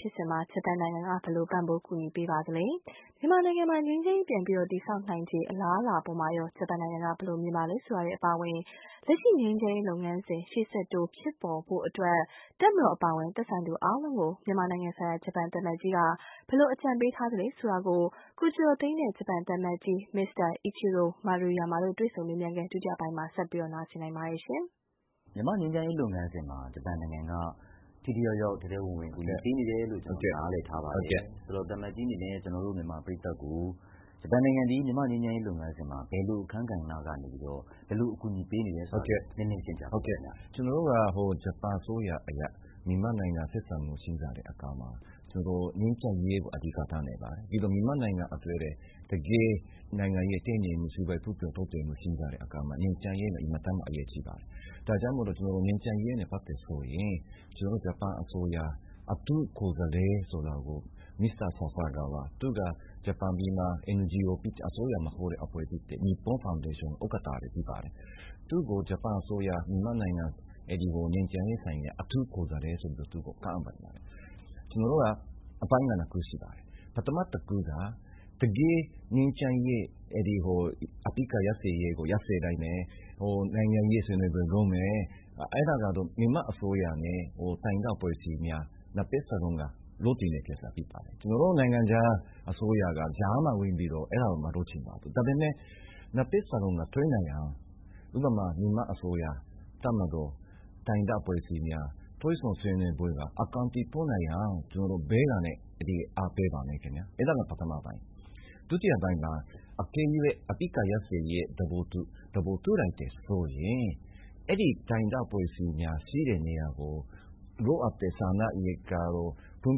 ဖြစ်စဉ်မှာ ဂျပန်နိုင်ငံက ဘယ်လို ပံ့ပိုးကူညီပေးနေပါသလဲ… မြန်မာနိုင်ငံမှာ ငြိမ်းချမ်းရေး ပြန်ပြီးတည်ဆောက်နိုင်ခြေ အလားအလာအပေါ်မှာရော ဂျပန်နိုင်ငံက ဘယ်လိုမြင်ပါသလဲ ဆိုတာတွေအပါအဝင် လက်ရှိ ငြိမ်းချမ်းရေးလုပ်ငန်းစဉ် ရှေ့ဆက်တိုးဖြစ်ပေါ်နိုင်ဖို့အတွက် တပ်မတော်အပါအဝင် သက်ဆိုင်သူအားလုံးကို မြန်မာနိုင်ငံဆိုင်ရာ ဂျပန်သံအမတ်ကြီးက ဘယ်လိုအကြံပေးထားသလဲ ဆိုတာတွေကို ကိုကျော်ကျော်သိန်းနဲ့ ဂျပန်သံအမတ်ကြီး Mr. Ichiro MARUYAMA တို့ တွေ့ဆုံမေးမြန်းခန်း ဒုတိယပိုင်းကို တင်ပြလိုက်ပါတယ်။ ကိုကျော်ကျော်သိန်း။ ။ မြန်မာ့ငြိမ်းချမ်းရေးလုပ်ငန်းစဉ်မှာ ဂျပန်နိုင်ငံက ထိထိရောက်ရောက် ထဲထဲဝင်ဝင်ကူညီပေးနေတယ်လို့ ကျနော်တို့ နားလည်ထားပါတယ်ဆိုတော့ သံအမတ်ကြီးအနေနဲ့ ကျနော်တို့ မြန်မာပရိတ်သတ်ကို ဂျပန်နိုင်ငံသည် မြန်မာ့ငြိမ်းချမ်းရေးလုပ်ငန်းစဉ်မှာ ဘယ်လိုအခန်းကဏ္ဍကနေပြီးတော့ ဘယ်လိုအကူအညီပေးနေတယ်ဆိုတာကို နည်းနည်းရှင်းပြပါ။ ဂျပန်သံအမတ်ကြီး Mr. Ichiro MARUYAMA ။ ။ ကျနော်တို့က ဂျပန်အစိုးရနဲ့ မြန်မာအစိုးရတို့ ဆက်ဆံရေးရှိကြတဲ့အခါ ငြိမ်းချမ်းရေးကို အဓိကထားနေပါတယ်။ ပြီးတော့ တကယ်ပဲ မြန်မာနိုင်ငံအတွက် နိုင်ငံရေး တည်ငြိမ်မှု စီးပွားရေးဖွံ့ဖြိုးတိုးတက်မှုအတွက် ငြိမ်းချမ်းရေးက အင်မတန်မှ အရေးကြီးပါတယ်။ ဒါကြောင့် ငြိမ်းချမ်းရေးနဲ့ ပတ်သက်တာဆိုရင် ကျနော်တို့ ဂျပန်အစိုးရ အထူးကိုယ်စားလှယ် ဆိုတာ မစ္စတာ Sasakawa ၊ သူကတော့ ဂျပန်မှာ NGO ဖြစ် အစိုးရမဟုတ်တဲ့ နီပွန်းဖောင်ဒေးရှင်း ဥက္ကဋ္ဌလည်းဖြစ်ပါတယ်။ သူ့ကို ဂျပန်အစိုးရက မြန်မာနိုင်ငံဆိုင်ရာ ငြိမ်းချမ်းရေး အထူးကိုယ်စားလှယ်ဆိုပြီးတော့ ခန့်ပါတယ်။ ကျနော်တို့က အပိုင်း ၂ ခုရှိပါတယ်။ ပထမတခုက တကယ့်ငြိမ်းချမ်းရေး ၊ အပစ်အခတ်ရပ်စဲရေးကို ရပ်စဲလိုက်မယ် နိုင်ငံရေးဆွေးနွေးပွဲ လုပ်မယ်။ အဲဒါကတော့ မြန်မာအစိုးရနဲ့ တိုင်းရင်းသားအဖွဲ့အစည်းများ ၂ ဖက်စလုံးက လုပ်ချင်တဲ့ကိစ္စဖြစ်ပါတယ်။ ကျနော်တို့ နိုင်ငံခြားအစိုးရက ကြားမှာဝင်ပြီးတော့ အဲဒါကို မလုပ်ချင်ပါဘူး။ ဒါပေမယ့် ၂ ဖက်စလုံးတွေ့နိုင်အောင်အတွက် ဥပမာ မြန်မာအစိုးရ၊ တပ်မတော် ၊ တိုင်းရင်းသားအဖွဲ့အစည်းများ အကောင်အထည်ဖော်နိုင်အောင် ကျနော်တို့ဘေးကနေ အားပေးပါမယ်ခင်ဗျ။ အဲဒါက ပထမအပိုင်း ၊ ဒုအပိုင်းမှာ အကယ်၍ အပစ်အခတ်ရပ်စဲရေးကို သဘောတူလိုက်တယ်ဆိုရင် အဲဒီတိုင်းရင်းသားအဖွဲ့အစည်းများရှိတဲ့နေရာကို လိုအပ်တဲ့ စားနပ်ရိက္ခာတို့ ဖွံ့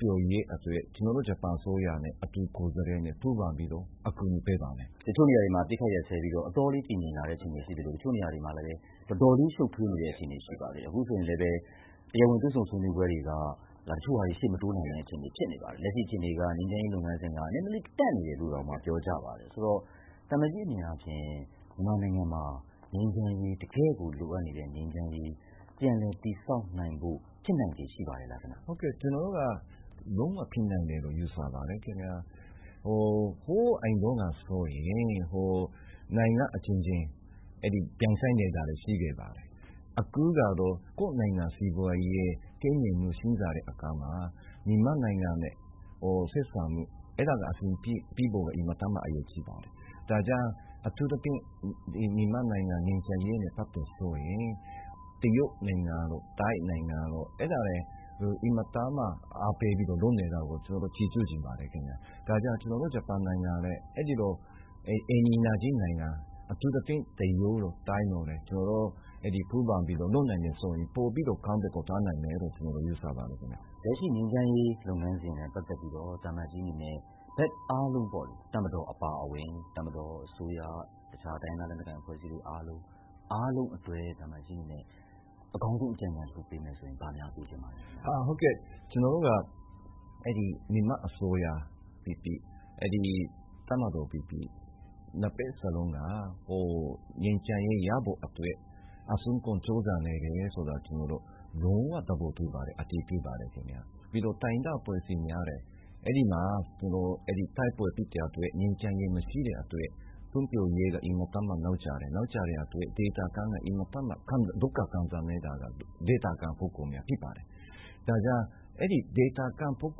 ဖြိုးရေးအတွက် ကျနော်တို့ ဂျပန်အစိုးရနဲ့ အထူးကိုယ်စားလှယ်နဲ့ ပူးပေါင်းပြီးတော့ အကူညီပေးပါမယ်။ ကိုကျော်ကျော်သိန်း။ ။ တချို့နေရာတွေမှာ အပစ်အခတ်ရပ်စဲပြီးတော့ အတော်လေးတည်ငြိမ်လာတဲ့အခြေအနေရှိသလို၊ တချို့နေရာတွေမှာ တော်လေး ရှုပ်ထွေးနေတဲ့အခြေအနေရှိပါတယ်။ အခုဆိုရင်လည်း တရားဝင်တွေ့ဆုံဆွေးနွေးပွဲတွေက တချို့ဟာတွေ ရှေ့မတိုးနိုင်တဲ့အခြေအနေဖြစ်နေပါတယ်။ လက်ရှိအခြေအနေက ငြိမ်းချမ်းရေးလုပ်ငန်းစဉ် နည်းနည်းလေးတန့်နေတယ်လို့ပြောကြပါတယ်။ ဆိုတော့ သံအမတ်ကြီးအနေနဲ့ မြန်မာနိုင်ငံမှာ တကယ့်ကို လိုအပ်နေတဲ့ ငြိမ်းချမ်းရေး ပြန်လည်တည်ဆောက်နိုင်ဖို့ ဖြစ်နိုင်ခြေရှိပါရဲ့လား။ ဂျပန်သံအမတ်ကြီး Mr. Ichiro MARUYAMA ။ ။ ဟုတ်ကဲ့ကျနော်တို့က လုံးဝဖြစ်နိုင်တယ်လို့ ယူဆပါတယ်။ ဟိုးအရင်တုန်းကဆိုရင် နိုင်ငံအချင်းချင်းပြိုင်ဆိုင်နေတာတွေရှိခဲ့ပါတယ်။ အခုကတော့ ကိုယ့်နိုင်ငံ စီးပွားရေး တည်ငြိမ်မှုရှိတဲ့အခါမှာ မြန်မာနိုင်ငံနဲ့ ဆက်ဆံရေးပြေလည်ဖို့ အဲဒါက အင်မတန်မှ အရေးကြီးပါတယ်။ ဒါကြောင့် အထူးသဖြင့် မြန်မာနိုင်ငံငြိမ်းချမ်းရေးနဲ့ပတ်သက်တာဆိုရင် တရုတ်၊ ထိုင်းနိုင်ငံတို့လည်း အင်မတန်မှ အားပေးပြီးတော့ လုပ်နေတာကို ကျနော်တို့ ချီးကျူးချင်ပါတယ်။ ဒါကြောင့် ကျနော်တို့ ဂျပန်နိုင်ငံလည်း အဲလို အိမ်နီးနားခြင်းနိုင်ငံ အထူးသဖြင့် တရုတ်တို့ ထိုင်းတို့နဲ့ ကျနော်တို့ ပူးပေါင်းပြီးတော့ လုပ်နိုင်မယ်ဆိုရင် ပိုပြီးတော့ အကောင်းဘက်ကို သွားနိုင်မယ်လို့ ကျနော်တို့ ယူဆပါတယ်။ ကိုကျော်ကျော်သိန်း။ ။ လက်ရှိ ငြိမ်းချမ်းရေးလုပ်ငန်းစဉ်နဲ့ ပတ်သက်ပြီးတော့ သံအမတ်ကြီးအနေနဲ့ ဘက်အားလုံးပေါ့လေ တပ်မတော်၊ အစိုးရ၊ အခြားတိုင်းရင်းသားလက်နက်ကိုင်အဖွဲ့အစည်းတွေအားလုံး အတွက် သံအမတ်ကြီးအနေနဲ့ အကောင်းဆုံးအကြံဉာဏ်တခုပေးမယ်ဆိုရင် ဘာများပေးချင်ပါသလဲ။ ဂျပန်သံအမတ်ကြီး Mr. Ichiro MARUYAMA ။ ။ ကျနော်တို့က မြန်မာအစိုးရဖြစ်ဖြစ် တပ်မတော်ပဲဖြစ်ဖြစ် ၂ ဖက်စလုံးက ငြိမ်းချမ်းရေးရဖို့အတွက် အစွမ်းကုန်ကြိုးစားနေတယ်ဆိုတာ လုံးဝသဘောတူပါတယ် အသိအမှတ်ပြုပါတယ်။ ပြီးတော့ တိုင်းရင်းသားအဖွဲ့အစည်းများလည်း အဲဒီမှာ တိုက်ပွဲဖြစ်တဲ့အတွက် ငြိမ်းချမ်းရေးမရှိတဲ့အတွက် ဖွံ့ဖြိုးရေးအင်မတန်မှ နောက်ကျတယ်။ နောက်ကျတဲ့အတွက်အင်မတန်မှ ဒုက္ခခံစားနေရတာကတော့ ဒေသခံတွေဖြစ်ပါတယ်။ ဒါကြောင့် ဒေသခံတွေအတွက်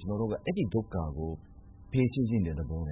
ကျနော်တို့က အဲဒီ ဒုက္ခကို ဖြေရှင်းချင်တဲ့သဘောန